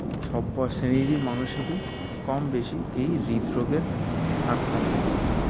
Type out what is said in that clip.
সব বয়সেরই মানুষেরই কম বেশি এই হৃদরোগের আক্রান্ত হচ্ছে